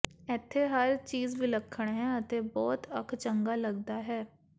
ਇੱਥੇ ਹਰ ਚੀਜ਼ ਵਿਲੱਖਣ ਹੈ ਅਤੇ ਬਹੁਤ ਅੱਖ ਚੰਗਾ ਲਗਦਾ ਹੈ